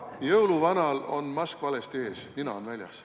Jõuluvanal on mask valesti ees, nina on väljas.